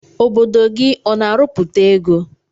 Obodo gi ọna arụputa ego?